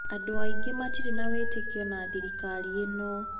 Andũ aingĩ matirĩ na wĩtĩkio na thirikari ĩno.